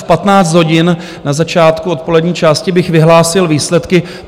V 15 hodin, na začátku odpolední části, bych vyhlásil výsledky.